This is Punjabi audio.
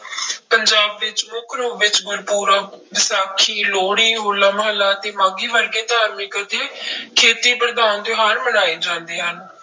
ਪੰਜਾਬ ਵਿੱਚ ਮੁੱਖ ਰੂਪ ਵਿੱਚ ਗੁਰਪੁਰਬ, ਵਿਸਾਖੀ, ਲੋਹੜੀ, ਹੋਲਾ ਮਹੱਲਾ ਅਤੇੇ ਮਾਘੀ ਵਰਗੇ ਧਾਰਮਿਕ ਅਤੇ ਖੇਤੀ ਪ੍ਰਧਾਨ ਤਿਉਹਾਰ ਮਨਾਏ ਜਾਂਦੇ ਹਨ।